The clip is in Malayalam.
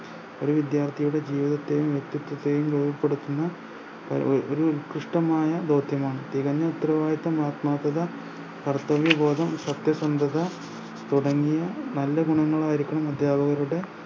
ഒരു വിദ്യാർത്ഥിയുടെ ജീവിതത്തെയും വ്യെക്തിത്വത്തെയും രൂപപ്പെടുത്തുന്ന ഒരു കുഷ്ട്ടമായ ദൗത്യമാണ് തികഞ്ഞ ഉത്തരവാദിത്വം ആത്മാർത്ഥത കർത്തവ്യബോധം സത്യസന്ധത തുടങ്ങിയ നല്ല ഗുണങ്ങളായിരിക്കണം അദ്ധ്യാപകരുടെ